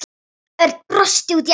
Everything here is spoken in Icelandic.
Örn brosti út í annað.